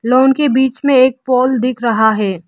Lawn के बीच में एक पोल दिख रहा है।